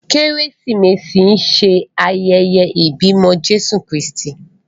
Keresimesi ṣe ayẹyẹ ibimọ Jesu Kristi.